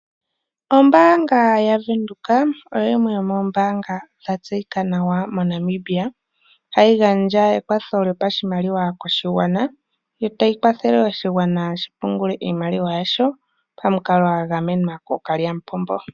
Ombaanga ya Windhoek oyo yimwe yomo mbaanga dha tseyika nawa mo Namibia, hayi gandja ekwatho lyopashimaliwa yotayi kwathele oshigwana shipungile iimaliwa yasho pamikalo gwa gamenwa kookalya mupombo.